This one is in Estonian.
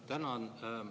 Tänan!